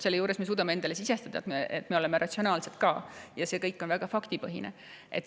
Selle juures me suudame endale sisestada, et me oleme ratsionaalsed ja et see kõik on väga faktipõhine.